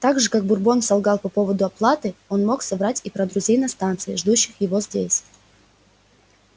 так же как бурбон солгал по поводу оплаты он мог соврать и про друзей на станции ждущих его здесь